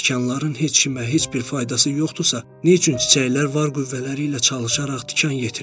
Əgər tikanların heç kimə heç bir faydası yoxdursa, nə üçün çiçəklər var qüvvələri ilə çalışaraq tikan yetirir.